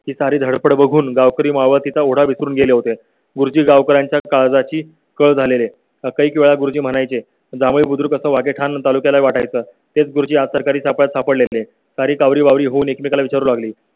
सारी धडपड बघून गावकरी मावळतीचा ओढा विसरून गेले होते. गुरुजी गावकरांच्या काळाची कर झालेले काही काळ गुरुजी म्हणाय चे. जावळी तालुक्या ला वाटाय चं ते गुरुजी आज सरकारी छाप्यात सापडले तरी कावरी बावरी होऊन एकमेकाला विचारू लागली.